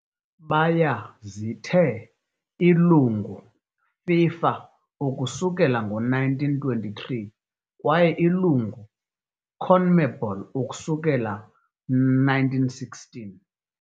Baya zithe ilungu FIFA ukusukela ngo-1923 kwaye ilungu CONMEBOL ukusukela 1916.